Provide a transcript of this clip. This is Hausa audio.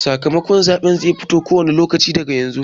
Sakamakon zaɓen zai fito ko wane lokaci daga yanzu.